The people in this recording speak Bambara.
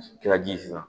Kɛra ji ye sisan